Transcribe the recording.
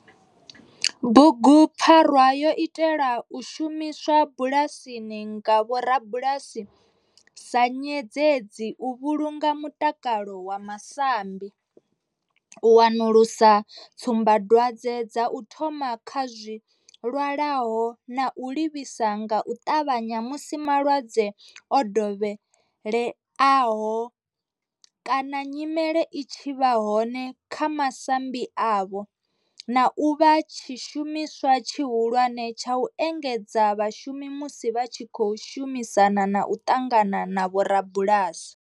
Bugupfarwa yo itelwa u shumiswa bulasini nga vhorabulasi sa nyendedzi u vhulunga mutakalo wa masambi, u wanulusa tsumbadwadzwe dza u thoma kha zwilwalaho na u livhisa nga u ṱavhanya musi malwadze o dovheleaho kana nyimele i tshi vha hone kha masambi avho, na u vha tshishumiswa tshihulwane tsha u engedzedza vhashumi musi vha tshi khou shumisana na u ṱangana na vhorabulasi.